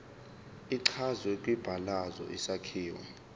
echazwe kwibalazwe isakhiwo